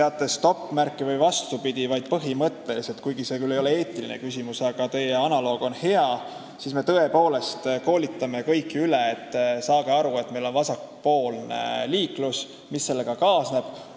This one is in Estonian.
Analoogia põhjal võib öelda, et me ei lase teha mitte tervet autojuhieksamit, ei kontrolli, kas teatakse, milline on stopp-märk, vaid me tõepoolest koolitame kõiki üle, et saage aru, et meil on vasakpoolne liiklus ja kõik, mis sellega kaasneb.